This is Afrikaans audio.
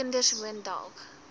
kinders woon dalk